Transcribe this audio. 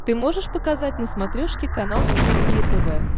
ты можешь показать на смотрешке канал синергия тв